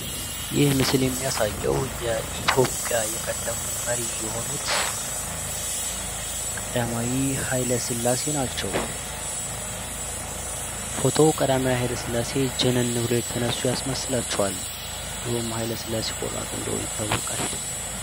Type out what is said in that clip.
ይህ ምስል የሚያሳየው የኢትዮጵያ የቀድሞ መሪ የነበሩትን ቀዳማዊ ሃይለስላሴን የሚያሳይ ሲሆን፤ ፎቶው ቀዳማዊ ሃይለስላሴ ጀነን ብለው የተነሱ ያስመስላቸዋል። ድሮም ቀዳማዊ ሃይለስላሴ ቆራጥ እንደሆኑ ይታወቃል።